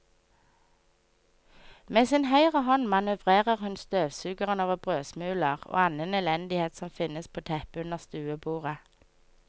Med sin høyre hånd manøvrerer hun støvsugeren over brødsmuler og annen elendighet som finnes på teppet under stuebordet.